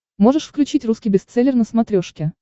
можешь включить русский бестселлер на смотрешке